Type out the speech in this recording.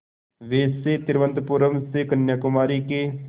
वैसे तिरुवनंतपुरम से कन्याकुमारी के